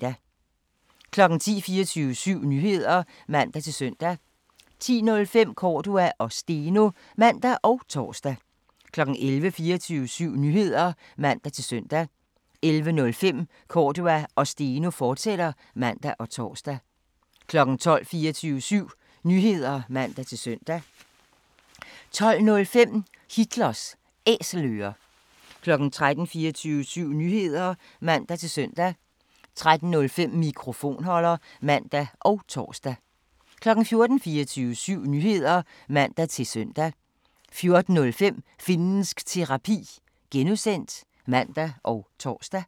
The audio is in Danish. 10:00: 24syv Nyheder (man-søn) 10:05: Cordua & Steno (man og tor) 11:00: 24syv Nyheder (man-søn) 11:05: Cordua & Steno, fortsat (man og tor) 12:00: 24syv Nyheder (man-søn) 12:05: Hitlers Æselører 13:00: 24syv Nyheder (man-søn) 13:05: Mikrofonholder (man og tor) 14:00: 24syv Nyheder (man-søn) 14:05: Finnsk Terapi (G) (man og tor)